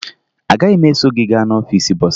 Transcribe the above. Agaghị m eso gị gaa n'ọfiisi bọsaa